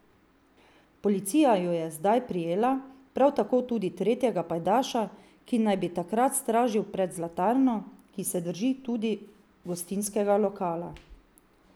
Policija ju je zdaj prijela, prav tako tudi tretjega pajdaša, ki naj bi takrat stražil pred zlatarno, ki se drži tudi gostinskega lokala.